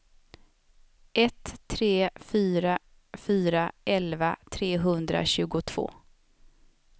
ett tre fyra fyra elva trehundratjugotvå